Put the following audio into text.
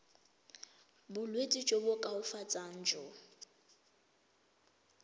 bolwetsi jo bo koafatsang jo